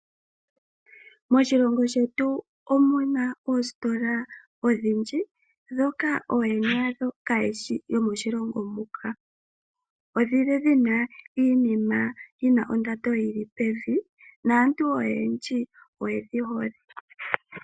Moshilongo shetu omu na oositola odhindji ndhoka ooyene yadho kaayeshi yomoshilongo muka odhi li dhi na iinima yi na ondando yi li pevi naantu oyendji oye dhi hole.